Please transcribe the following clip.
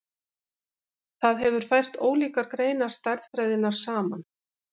Það hefur fært ólíkar greinar stærðfræðinnar saman.